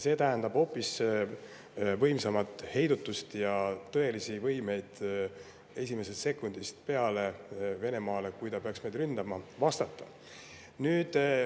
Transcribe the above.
See tähendab hoopis võimsamat heidutust ja tõelist võimet vastata Venemaale esimesest sekundist peale, kui ta meid ründama peaks.